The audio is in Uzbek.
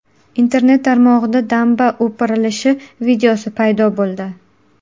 Internet tarmog‘ida damba o‘pirilishi videosi paydo bo‘ldi.